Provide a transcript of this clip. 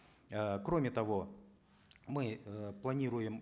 э кроме того мы э планируем